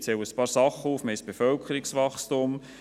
Ich zähle einige Dinge auf: Wir haben ein Bevölkerungswachstum.